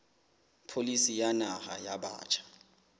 pholisi ya naha ya batjha